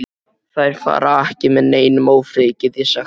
Þeir fara ekki með neinum ófriði, get ég sagt þér.